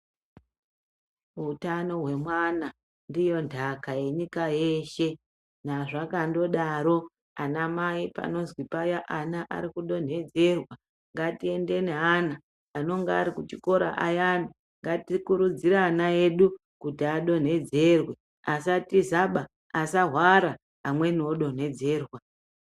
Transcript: Wutano wemwana, ndiyo ndhaka yenyika yeshe. Nazvakandodaro, anamayi panozi paya ana arikudonhedzerwa, ngatiyende ne ana. Anonga arikuchikora ayana, ngatikurudzire ana edu kuti adonhedzerwe, asatizaba, asawara amweni odonedzerwa.